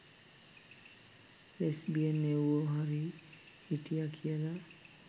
lesbian එව්වො හරි හිටිය කියල